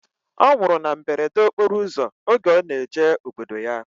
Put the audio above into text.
Ọ nwụrụ na mberede okporo ụzọ oge ọ na-eje obodo ya